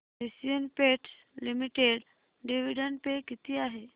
Asian paints limited dividend pay किती आहे